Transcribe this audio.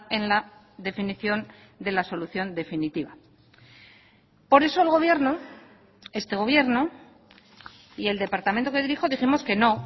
en la definición de la solución definitiva por eso el gobierno este gobierno y el departamento que dirijo dijimos que no